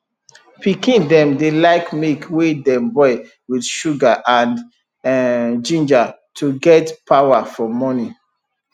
pikin dem dey like milk wey dem boil with sugar and um ginger to get power for morning